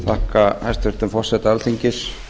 þakka hæstvirtum forseta alþingis